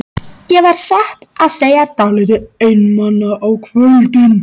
Ég var satt að segja dálítið einmana á kvöldin.